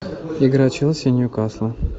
игра челси и ньюкасла